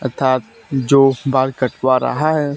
अर्थात जो बाल कटवा रहा है।